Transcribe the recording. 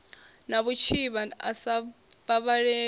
na vhutshivha a sa vhavhaleli